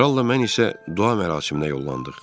Kral da mən isə dua mərasiminə yollandıq.